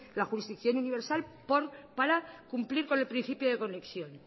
la jurisdicción universal para cumplir con el principio de conexión